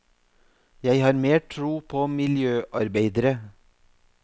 Jeg har mer tro på miljøarbeidere.